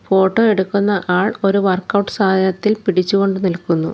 Photo എടുക്കുന്ന ആൾ ഒരു വർക്ക് ഔട്ട് സാധനത്തിൽ പിടിച്ച് കൊണ്ട് നിൽക്കുന്നു.